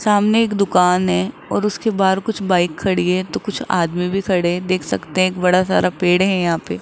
सामने एक दुकान है और उसके बाहर कुछ बाइक खड़ी है तो कुछ आदमी भी खड़े देख सकते हैं एक बड़ा सारा पेड़ है यहां पे --